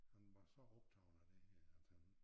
Han var så optaget af det her at han